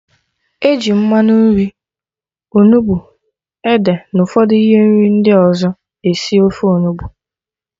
Eji mmanụ nri, onugbu, ede na ụfọdụ ihe nri ndị ọzọ esi ofe Onugbu